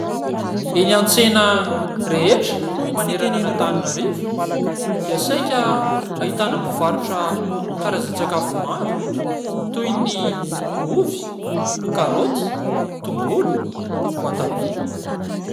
Eny an-tsena rehetra manerana an'Antananarivo dia saika ahitana mpivarotra karazan-tsakafo maro toy ny ovy, karaoty, tongolo, voatabia.